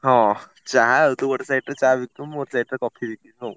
ହଁ ଚାହା ଆଉ ତୁ ଗୋଟେ side ରେ ଚାହା ବିକିବୁ, ମୁଁ ଗୋଟେ side ରେ coffee ବିକିବି ହଉ।